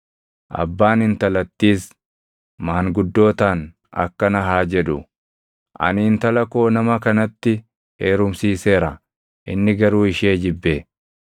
Abbaan intalattiis maanguddootaan akkana haa jedhu; “Ani intala koo nama kanatti heerumsiiseera; inni garuu ishee jibbe.